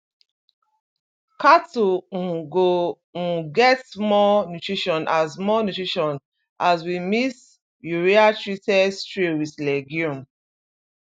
cattle um go um get more nutrition as more nutrition as we mix urea treated stray with legume